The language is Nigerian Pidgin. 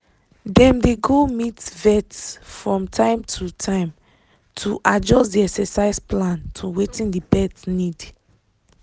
dem dey go meet vet from time to time to adjust the exercise plan to wetin the pet need